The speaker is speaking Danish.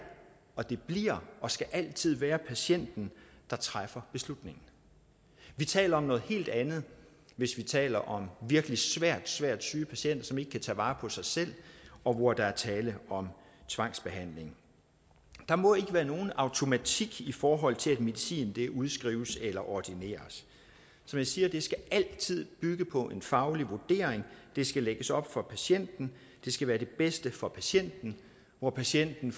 og det bliver og det skal altid være patienten der træffer beslutningen vi taler om noget helt andet hvis vi taler om virkelig svært svært syge patienter som ikke kan tage vare på sig selv og hvor der er tale om tvangsbehandling der må ikke være nogen automatik i forhold til at medicin udskrives eller ordineres som jeg siger skal det altid bygge på en faglig vurdering det skal lægges op for patienten det skal være det bedste for patienten hvor patienten